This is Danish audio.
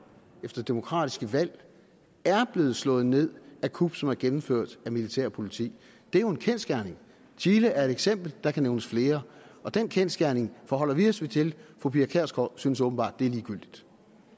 efter demokratiske valg er blevet slået ned af kup som er gennemført af militær og politi det er jo en kendsgerning chile er et eksempel og der kan nævnes flere den kendsgerning forholder vi os til fru pia kjærsgaard synes åbenbart at det er ligegyldigt